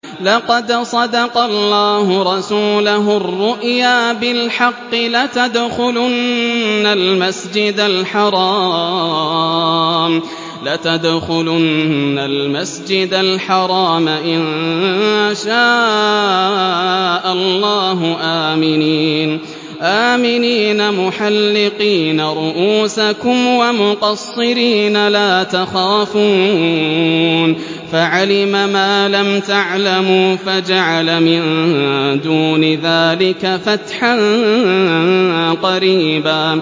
لَّقَدْ صَدَقَ اللَّهُ رَسُولَهُ الرُّؤْيَا بِالْحَقِّ ۖ لَتَدْخُلُنَّ الْمَسْجِدَ الْحَرَامَ إِن شَاءَ اللَّهُ آمِنِينَ مُحَلِّقِينَ رُءُوسَكُمْ وَمُقَصِّرِينَ لَا تَخَافُونَ ۖ فَعَلِمَ مَا لَمْ تَعْلَمُوا فَجَعَلَ مِن دُونِ ذَٰلِكَ فَتْحًا قَرِيبًا